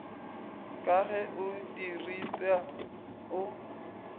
ka ge e diripwa o